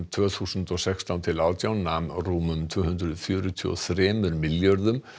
tvö þúsund og sextán til átján nam rúmum tvö hundruð fjörutíu og þrem milljörðum